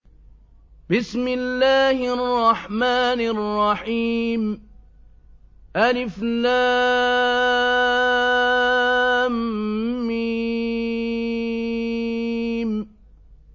الم